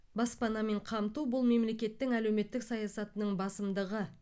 баспанамен қамту бұл мемлекеттің әлеуметтік саясатының басымдығы